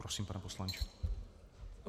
Prosím, pane poslanče.